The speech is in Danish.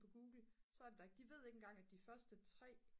på google så er det der ikke de ved ikke engang at de første 3